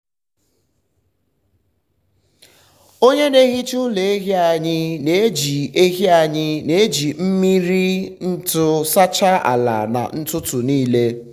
onye na-ehicha ụlọ ehi anyị na-eji ehi anyị na-eji mmiri ntu sachaa ala na ụtụtụ nile.